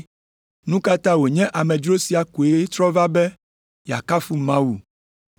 Nu ka ta wònye amedzro sia koe trɔ va be yeakafu Mawu?”